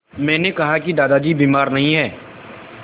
मैंने कहा कि दादाजी बीमार नहीं हैं